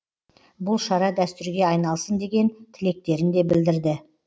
бұл шара дәстүрге айналсын деген тілектерін де білдірді